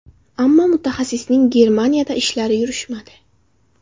Ammo mutaxassisning Germaniyada ishlari yurishmadi.